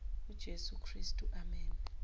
ujesu kristu amen